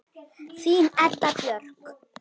Þín Edda Björk.